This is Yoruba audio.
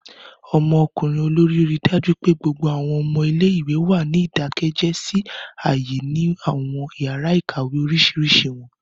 Ọmọkunrin olori rii daju pe gbogbo awọn ọmọ ile-iwe wa ni idakẹjẹ si aaye ni awọn yara ikawe oriṣiriṣi wọn.